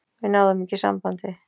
Við náðum ekki sambandi.